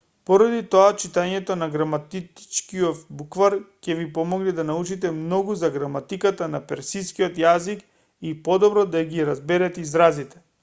поради тоа читањето на граматичкиов буквар ќе ви помогне да научите многу за граматиката на персискиот јазик и подобро да ги разберете изразите